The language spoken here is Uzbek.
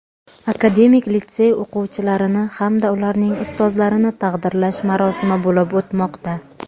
akademik litsey o‘quvchilarini hamda ularning ustozlarini taqdirlash marosimi bo‘lib o‘tmoqda.